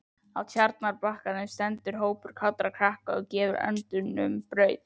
Á Tjarnarbakkanum stendur hópur kátra krakka og gefur öndunum brauð.